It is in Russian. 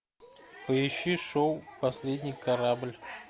поищи шоу последний корабль